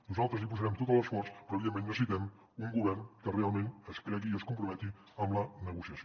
nosaltres hi posarem tot l’esforç però evidentment necessitem un govern que realment es cregui i es comprometi amb la negociació